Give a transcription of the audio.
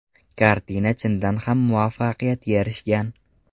Kartina chindan ham muvaffaqiyatga erishgan.